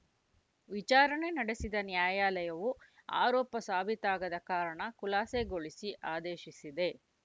ವಿಚಾರಣೆ ನಡೆಸಿದ ನ್ಯಾಯಾಲಯವು ಆರೋಪ ಸಾಬೀತಾಗದ ಕಾರಣ ಖುಲಾಸೆಗೊಳಿಸಿ ಆದೇಶಿಸಿದೆ